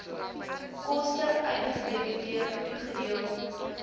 koste uitgedebiteer toegedeel